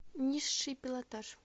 низший пилотаж